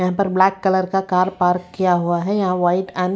यहां पर black colour का कार पार्क किया हुआ है यहां वाइट एंड --